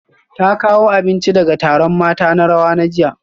Ta kawo abinci daga taron mata na rawa jiya